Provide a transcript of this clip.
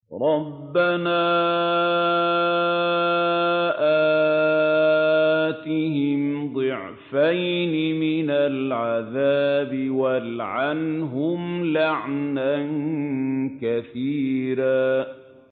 رَبَّنَا آتِهِمْ ضِعْفَيْنِ مِنَ الْعَذَابِ وَالْعَنْهُمْ لَعْنًا كَبِيرًا